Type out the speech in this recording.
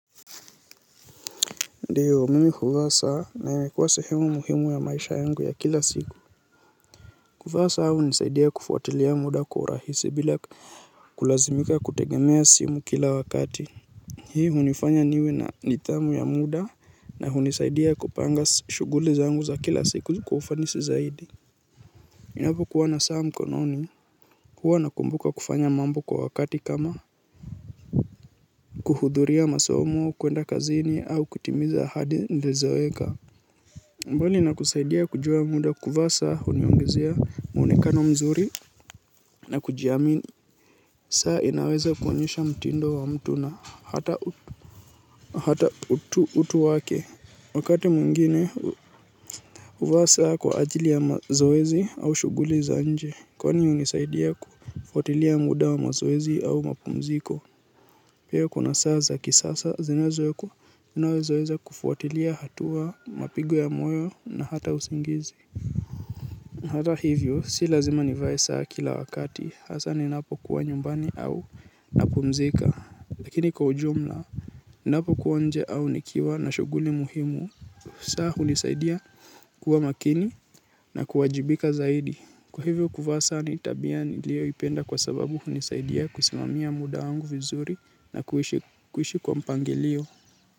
Ndio mimi huvaa saa na imekuwa sehemu muhimu ya maisha yangu ya kila siku. Kuvaa saa hunisaidia kufuatilia muda kwa urahisi bila kulazimika kutegemea simu kila wakati. Hii hunifanya niwe na nithamu ya muda na hunisaidia kupanga shughuli zangu za kila siku kwa ufanisi zaidi ninapokuwa na saa mkononi huwa nakumbuka kufanya mambo kwa wakati kama kuhudhuria masomo kuenda kazini au kutimiza hadi nilizoweka. Mbali na kusaidia kujua muda kuvaa saa huniongezea muonekano mzuri na kujiamini. Saa inaweza kuonyesha mtindo wa mtu na hata utu wake. Wakati mwingine huvaa saa kwa ajili ya mazoezi au shughuli za nje. Kwani hunisaidia kufuatilia muda wa mazoezi au mapumziko. Pia kuna saa za kisasa zinazowekwa zinazoweza kufuatilia hatua mapigo ya moyo na hata usingizi. Hata hivyo si lazima nivae saa kila wakati hasa ninapo kuwa nyumbani au napumzika lakini kwa ujumla ninapokuwa nje au nikiwa na shughuli muhimu saa hunisaidia kuwa makini na kuwajibika zaidi kwa hivyo kuvaa saa ni tabia niliyoipenda kwa sababu hunisaidia kusimamia muda wangu vizuri na kuishi kwa mpanglio.